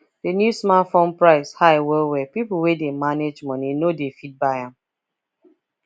the new smartphone price high well well people wey dey manage money no dey fit buy am